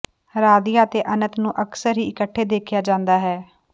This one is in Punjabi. ਰਾਧਿਆ ਅਤੇ ਅਨੰਤ ਨੂੰ ਅਕਸਰ ਹੀ ਇਕੱਠੇ ਦੇਖਿਆ ਜਾਂਦਾ ਹੈ